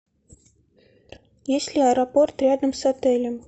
есть ли аэропорт рядом с отелем